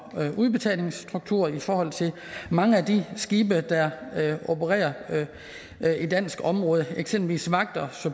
udbetalingsstruktur i forhold til mange af de skibe der opererer i dansk område eksempelvis vagt og